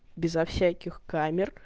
безо всяких камер